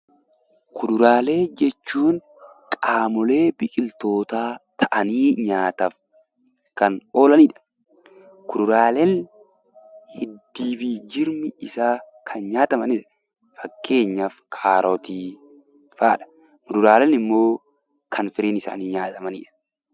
Kuduraalee jechuun qaamolee biqiltootaa ta'anii nyaataaf kan oolanidha. Kuduraaleen hiddii fi jirmi isaa kan nyaatamanidha. Fakkeenyaaf kaarotii fa'aadha. Fuduraaleen immoo kan firiin isaanii nyaatamanidha.